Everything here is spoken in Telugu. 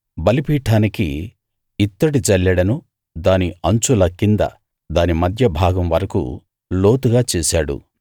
బలిపీఠానికి ఇత్తడి జల్లెడను దాని అంచుల కింద దాని మధ్య భాగం వరకూ లోతుగా చేశాడు